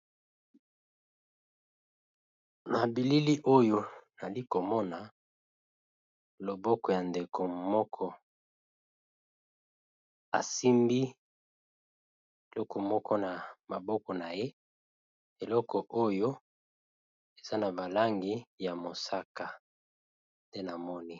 Na bilili oyo nazali komona loboko ya ndeko moko asimbi eloko na loboko naye